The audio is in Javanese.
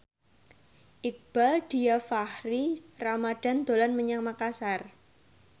Iqbaal Dhiafakhri Ramadhan dolan menyang Makasar